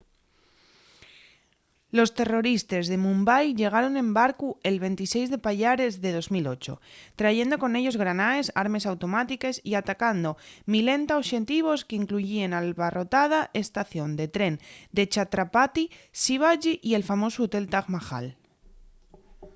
los terroristes de mumbai llegaron en barcu’l 26 de payares de 2008 trayendo con ellos granaes armes automátiques y atacando milenta oxetivos qu’incluyíen l’abarrotada estación de tren de chhatrapati shivaji y el famosu hotel taj mahal